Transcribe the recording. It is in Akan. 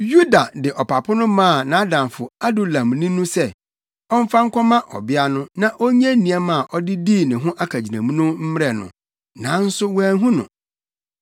Yuda de ɔpapo no maa nʼadamfo Adulamni no sɛ, ɔmfa nkɔma ɔbea no, na onnye nneɛma a ɔde dii ne ho akagyinamu no mmrɛ no, nanso wanhu no.